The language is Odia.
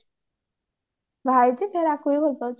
ବାହା ହେଇଛି ପୁଣି ଆକୁ ବି ଭଲ ପାଉଛି